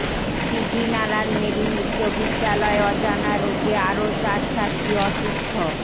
দীঘিনালার মেরুং উচ্চবিদ্যালয় অজানা রোগে আরও চার ছাত্রী অসুস্থ